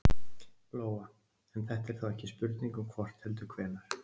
Lóa: En þetta er þá ekki spurning um hvort heldur hvenær?